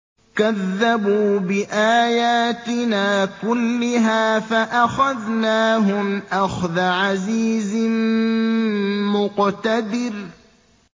كَذَّبُوا بِآيَاتِنَا كُلِّهَا فَأَخَذْنَاهُمْ أَخْذَ عَزِيزٍ مُّقْتَدِرٍ